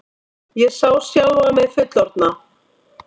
Ég sá sjálfa mig fullorðna.